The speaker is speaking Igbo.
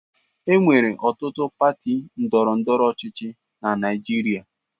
Enwere ọtụtụ pati ndọrọ ndọrọ ọchịchị na Naịjirịa.